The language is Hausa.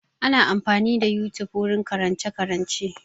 Ana amfani da yotube wurin karance-karance.